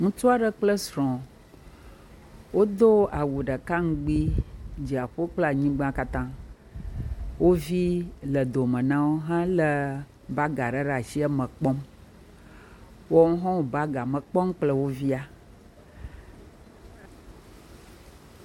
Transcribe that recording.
Ŋutsu aɖe kple srɔ̃ wodo awu ɖeka ŋgbi , dziaƒo kple anyigba katã. Wo vi le dome na wo hele bag aɖe eme kpɔm. Woawo ha wo bagea me kpɔm kple wo via.